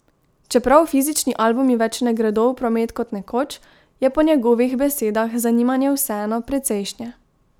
Čeprav fizični albumi več ne gredo v promet kot nekoč, je po njegovih besedah zanimanje vseeno precejšnje.